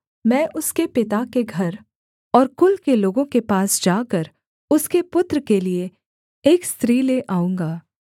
मैं उसके पिता के घर और कुल के लोगों के पास जाकर उसके पुत्र के लिये एक स्त्री ले आऊँगा